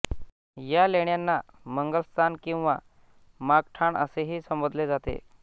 या लेण्यांना मंगलस्थान किंवा मागठाण असेही संबोधिले जाते